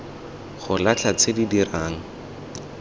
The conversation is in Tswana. go latlha tse di dirang